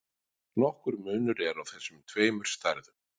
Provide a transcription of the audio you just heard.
Nokkur munur er á þessum tveimur stærðum.